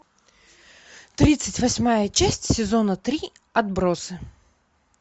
тридцать восьмая часть сезона три отбросы